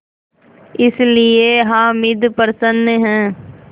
इसलिए हामिद प्रसन्न है